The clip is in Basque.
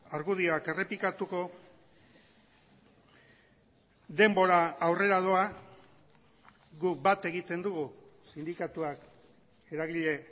argudioak errepikatuko denbora aurrera doa guk bat egiten dugu sindikatuak eragile